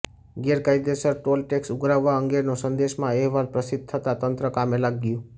ગેરકાયદેસર ટોલટેક્સ ઉઘરાવવા અંગેનો સંદેશમાં અહેવાસ પ્રસિદ્ધ થતાં તંત્ર કામે લાગ્યુ